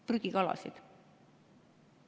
– prügikalasid.